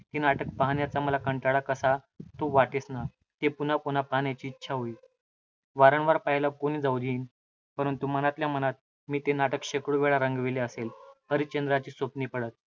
ते नाटक पाहण्याचा मला कंटाळा कसा तो वाटेच ना. ते पुनः पुनः पाहण्याची इच्छा होई. वारंवार पाहायला कोण जाऊ देणार? परंतु मनातल्या मनात मी ते नाटक शेकडो वेळा रंगविले असेल! हरिश्चंद्राची स्वप्ने पडत.